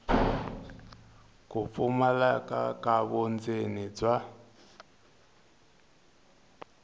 ku pfumaleka ka vundzeni bya